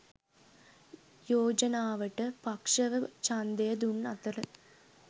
යෝජනාවට පක්ෂව ඡන්දය දුන් අතර